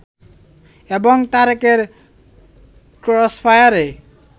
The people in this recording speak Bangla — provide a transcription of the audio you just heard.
এবং তারেকের ক্রসফায়ারে